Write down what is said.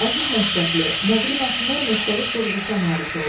Əziz məktəbli, nəqli mətnlər müxtəlif quruluşa malik olur.